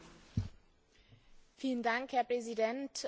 Herr Präsident, sehr geehrter Herr Minister!